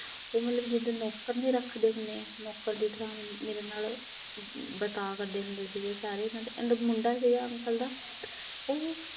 ਉਹ ਮਤਲਬ ਜਿੱਦਾਂ ਨੌਕਰ ਨੀ ਰੱਖਦੇ ਹੁੰਦੇ ਨੌਕਰ ਦੀ ਥਾਂ ਮੇਰੇ ਨਾਲ ਵਰਤਾਅ ਕਰਦੇ ਹੁੰਦੇ ਸੀਗੇ ਸਾਰੇ ਇਹਨਾਂ ਦੇ, ਇਹਦਾ ਮੁੰਡਾ ਸੀਗਾ ਅੰਕਲ ਦਾ ਉਹ